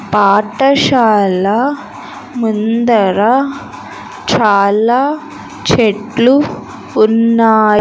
పాఠశాల ముందర చాలా చెట్లు ఉన్నా--